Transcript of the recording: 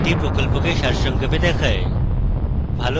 এটি প্রকল্পকে সারসংক্ষেপে দেখায়